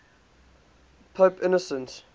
pope innocent